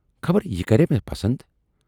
خبر یہِ کرِیا مےٚ پسند۔